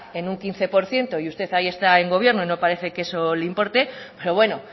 en un quince por ciento y usted ahí está en gobierno y no parece que eso le importe pero bueno